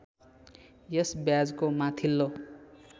यस ब्याजको माथिल्लो